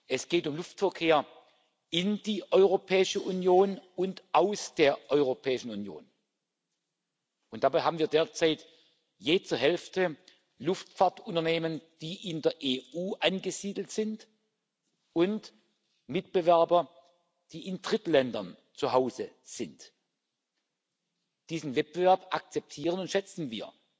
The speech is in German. Es geht um Luftverkehr in die Europäische Union und aus der Europäischen Union, und dabei haben wir derzeit jeweils zur Hälfte Luftfahrtunternehmen, die in der EU angesiedelt sind, und Mitbewerber, die in Drittländern zu Hause sind. Diesen Wettbewerb akzeptieren und schätzen